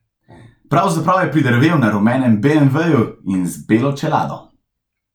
Pravzaprav je pridrvel, na rumenem beemveju in z belo čelado.